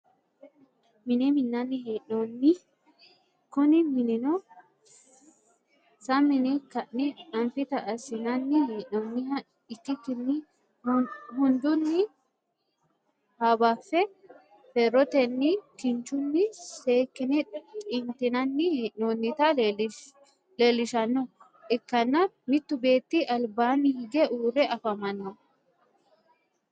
minne minnani hee'nonni kunni minnino saminne ka'ne anfita asinnani he'nonniha ikikinni hundunni habafe ferottenna kinchunni seekine xinitinanni hee'nonnita leelishanoha ikanna muttu beetti alibaani higge uure afamanno.